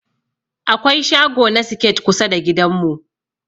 Akwai shago na siket kusa da gidan mu.